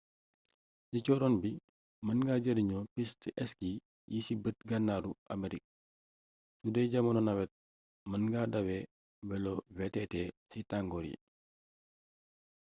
ci cóoróon bi mën nga jarinoo piste ski yi ci bët gànnaaru amerik sudee jamonoy nawet mën nga dawal welo vtt ci tangor yi